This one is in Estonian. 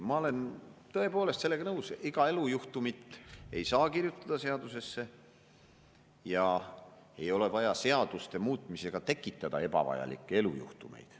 Ma olen tõepoolest sellega nõus, iga elujuhtumit ei saa kirjutada seadusesse ja ei ole vaja seaduste muutmisega tekitada ebavajalikke elujuhtumeid.